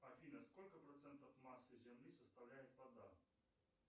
афина сколько процентов массы земли составляет вода